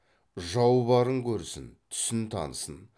жау барын көрсін түсін танысын